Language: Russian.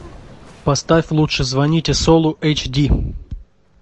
поставь лучше звоните солу эйч ди